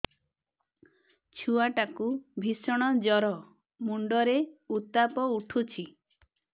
ଛୁଆ ଟା କୁ ଭିଷଣ ଜର ମୁଣ୍ଡ ରେ ଉତ୍ତାପ ଉଠୁଛି